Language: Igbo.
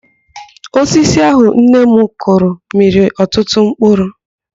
Ose ahụ nnenne m kụrụ mịrị ọtụtụ mkpụrụ.